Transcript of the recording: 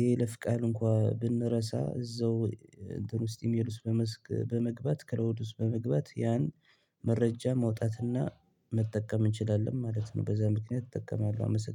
የይለፍ ቃል እንኳን ብንረሳ እዛው እንትን ውስጥ ኢሜል ውስጥ በመግባት ክላውድ ውስጥ በመግባት ያን መረጃ ማውጣትና መጠቀም እንችላለን ማለት ነው። በዛ ምክንያት እጠቀማለሁ